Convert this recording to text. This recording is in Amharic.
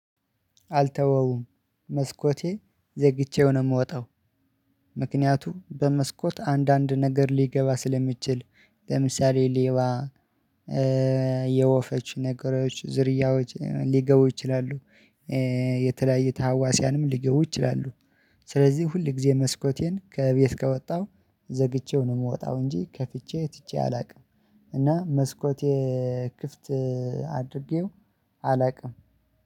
አልተወውም መስኮቴ ዘግቼው ነው የምወጣው። ምክንያቱም በመስኮት አንዳንድ ነገር ሊገባ ስለሚችል ለምሳሌ ሌባ የወፈች ነገሮች ዝርያዎች ሊገቡ ይችላሉ። የተለያየ ታዋስያንም ሊገቡ ይችላሉ። ስለዚህ ሁል ጊዜ መስኮቴን ከቤት ከወጣሁ ዘግቼው ነው የምወጣው እንጂ ከፍቼ ትቼ አላውቅም። እና መስኮት የክፍት አድርጌው አላውቅም